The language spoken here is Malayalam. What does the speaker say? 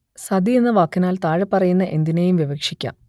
സതി എന്ന വാക്കിനാൽ താഴെപ്പറയുന്ന എന്തിനേയും വിവക്ഷിക്കാം